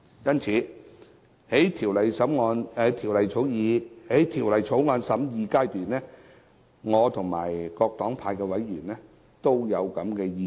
因此，在審議《條例草案》時，我及各黨派的委員都有同樣的意見。